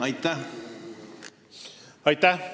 Aitäh!